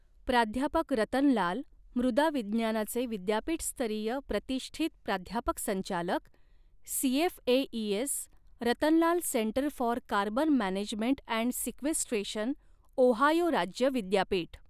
प्राध्यापक रतन लाल, मृदा विज्ञानाचे विद्यापीठस्तरीय प्रतिष्ठित प्राध्यापक संचालक CFAES Ratan Lal centre for carbon management and sequestration, Ohio राज्य विद्यापीठ